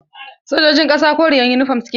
Sojojin ƙasa koriyar yunifom suke sa wa.